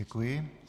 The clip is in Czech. Děkuji.